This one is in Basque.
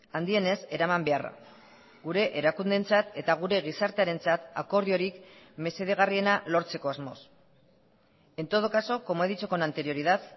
handienez eraman beharra gure erakundeentzat eta gure gizartearentzat akordiorik mesedegarriena lortzeko asmoz en todo caso como he dicho con anterioridad